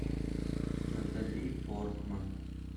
натали портман